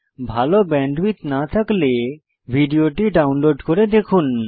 ভাল ব্যান্ডউইডথ না থাকলে ভিডিওটি ডাউনলোড করে দেখুন